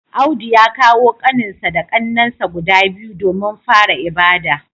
Audu ya kawo kaninsa da kannensa guda biyu domin fara ibada